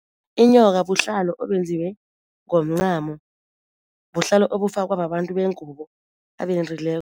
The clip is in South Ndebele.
Inyoka buhlalo obenziwe ngomncamo buhlalo obufakwa babantu bengubo abendileko.